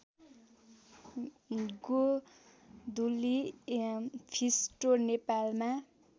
गोधुली फिस्टो नेपालमा